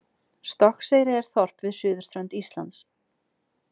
Stokkseyri er þorp við suðurströnd Íslands.